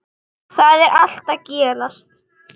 Þar er allt að gerast.